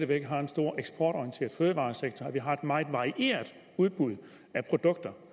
væk har en stor eksportorienteret fødevaresektor at vi har et meget meget varieret udbud af produkter